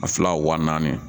A fila wa naani